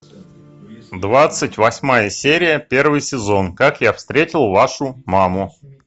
двадцать восьмая серия первый сезон как я встретил вашу маму